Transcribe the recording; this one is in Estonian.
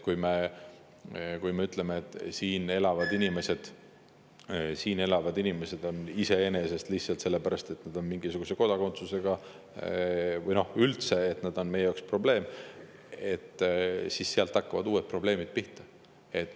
Kui me ütleme, et siin elavad inimesed on lihtsalt sellepärast, et nad on mingisuguse kodakondsusega, üldse meie jaoks probleem, siis sealt hakkavad uued probleemid pihta.